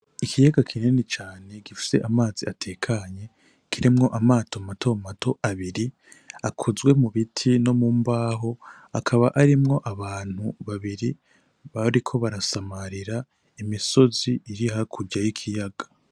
Ikiyaga kinini cane gifise amazi atekanye, kirimwo amato matomato abiri akozwe mu biti no mu mbaho, akaba arimwo abantu babiri bariko barasamarira imisozi iri hakurya y'ikiyaga.